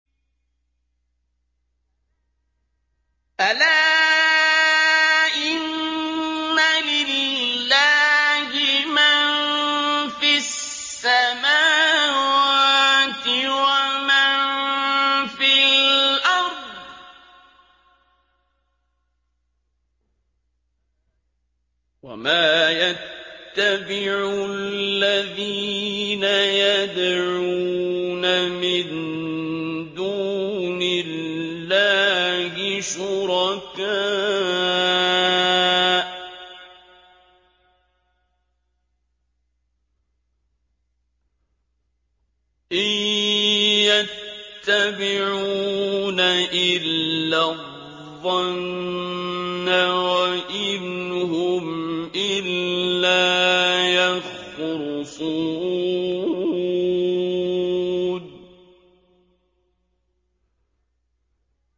أَلَا إِنَّ لِلَّهِ مَن فِي السَّمَاوَاتِ وَمَن فِي الْأَرْضِ ۗ وَمَا يَتَّبِعُ الَّذِينَ يَدْعُونَ مِن دُونِ اللَّهِ شُرَكَاءَ ۚ إِن يَتَّبِعُونَ إِلَّا الظَّنَّ وَإِنْ هُمْ إِلَّا يَخْرُصُونَ